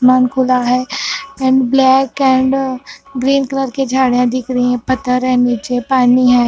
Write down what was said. मन खुला है and black and green colour की झाड़ियाँ दिख रही हैं पत्थर है निचे पानी है।